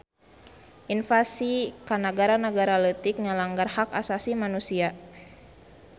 Invasi ka nagara-nagara leutik ngalanggar hak asasi manusia